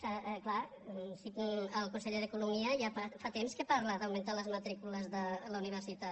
és clar el conseller d’economia ja fa temps que parla d’augmentar les matrícules de la universitat